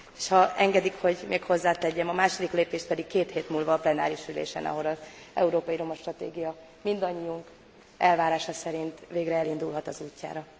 És ha engedik, hogy még hozzátegyem, a második lépést pedig két hét múlva a plenáris ülésen, ahol az európai romastratégia mindannyiunk elvárása szerint végre elindulhat az útjára.